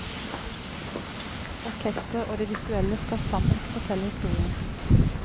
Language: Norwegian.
Orkesteret og det visuelle skal sammen fortelle historien.